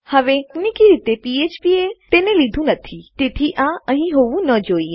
હવે તકનીકી રીતે ફ્ફ્પ પીએચપી એ તેને લીધું નથી તેથી આ અહીં હોવું ન જોઈએ